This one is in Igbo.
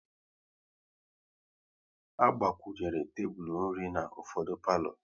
A gbakwunyere tebụl nri na ufọdụ palo